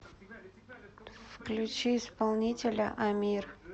включи исполнителя амир